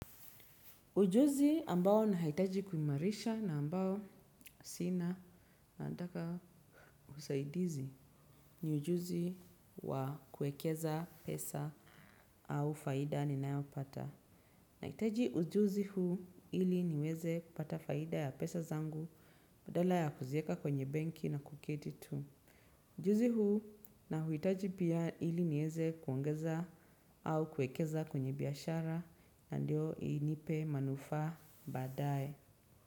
Ujuzi ambao na haitaji kuimarisha na ambao sina nataka usaidizi ni ujuzi wa kuekeza pesa au faida ninayopata. Nahitaji ujuzi huu ili niweze kupata faida ya pesa zangu badala ya kuzieka kwenye benki na kuketi tu. Ujuzi huu na huitaji pia ili nieze kuongeza au kuekeza kwenye biashara na ndio inipe manufaa badaye.